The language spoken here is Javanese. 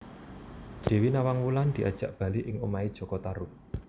Dewi Nawang Wulan diajak bali ing omahé jaka Tarub